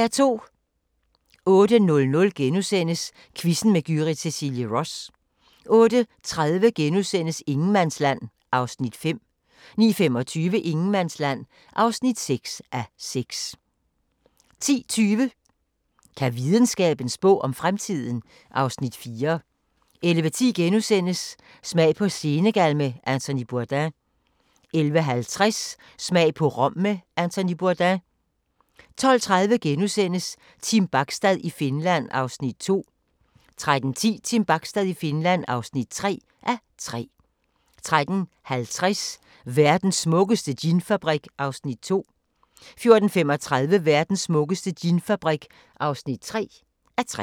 08:00: Quizzen med Gyrith Cecilie Ross * 08:30: Ingenmandsland (5:6)* 09:25: Ingenmandsland (6:6) 10:20: Kan videnskaben spå om fremtiden? (Afs. 4) 11:10: Smag på Senegal med Anthony Bourdain * 11:50: Smag på Rom med Anthony Bourdain 12:30: Team Bachstad i Finland (2:3)* 13:10: Team Bachstad i Finland (3:3) 13:50: Verdens smukkeste ginfabrik (2:3) 14:35: Verdens smukkeste ginfabrik (3:3)